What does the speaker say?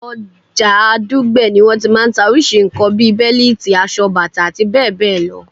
Ọjà Dùgbẹ̀ ni wọ́n ti máa ń ta orísìí nǹkan bi bẹ́líìtì, aṣọ, bàtà, abbl.